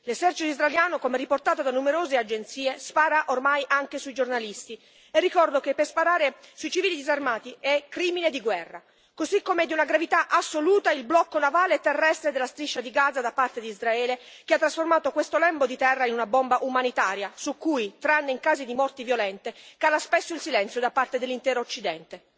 L'esercito israeliano, come riportato da numerose agenzie, spara ormai anche sui giornalisti e ricordo che sparare sui civili disarmati è crimine di guerra, così come è di una gravità assoluta il blocco navale e terrestre della striscia di Gaza da parte di Israele, che ha trasformato questo lembo di terra in una bomba umanitaria su cui, tranne in casi di morti violente, cala spesso il silenzio da parte dell'intero occidente.